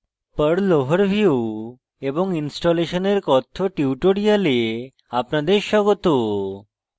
perl overview এবং installation এর কথ্য tutorial আপনাদের স্বাগত